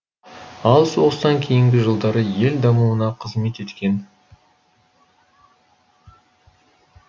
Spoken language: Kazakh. ал соғыстан кейінгі жылдары ел дамуына қызмет еткен